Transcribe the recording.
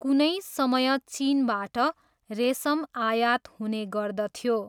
कुनै समय चिनबाट रेसम आयात हुने गर्दथ्यो।